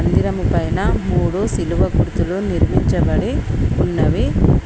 మందిరము పైన మూడు సిలువ గుర్తులు నిర్మించబడి ఉన్నవి.